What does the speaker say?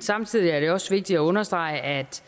samtidig er det også vigtigt at understrege at